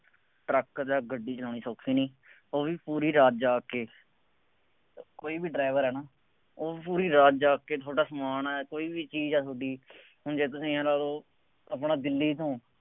truck ਜਾਂ ਗੱਡੀ ਚਲਾਉਣੇ ਸੌਖੇ ਨਹੀਂ, ਉਹ ਵੀ ਪੂਰੀ ਰਾਤ ਜਾਗ ਕੇ, ਕੋਈ ਵੀ ਡਰਾਈਵਰ ਆ ਹੈ ਨਾ, ਉਹ ਪੂਰੀ ਰਾਤ ਜਾਗ ਕੇ ਤੁਹਾਡਾ ਸਮਾਨ ਹੈ, ਕੋਈ ਵੀ ਚੀਜ਼ ਹੈ ਤੁਹਾਡੀ, ਹੁਣ ਜੇ ਤੁਸੀਂ ਆਂਏਂ ਲਾ ਲਉ ਆਪਣਾ ਦਿੱਲੀ ਤੋਂ